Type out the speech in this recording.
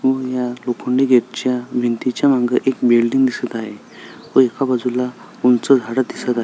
अम या लोखंडी गेटच्या भिंतीच्या माग एक बिल्डिंग दिसत आहे व एक बजूला उंच झाड दिसत आहे.